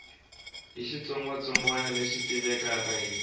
hi xitsongwatsongwana lexi tivekaka hi